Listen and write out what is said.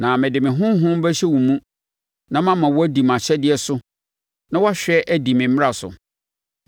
Na mede me Honhom bɛhyɛ wo mu na mama woadi mʼahyɛdeɛ so na woahwɛ adi me mmara so.